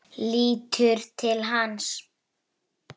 Ég fann það!